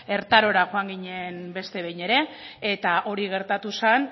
ertarora joan ginen beste behin ere eta hori gertatu zen